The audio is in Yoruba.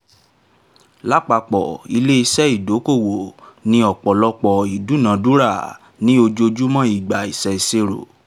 lápapọ̀ ilé-iṣẹ́ ìdókòwò ni ọ̀pọ̀lọpọ̀ ìdúnadúrà ní ojoojúmọ́ ìgbà ìṣèṣirò